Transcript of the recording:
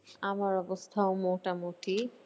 আমার অবস্থাও মোটামুটি।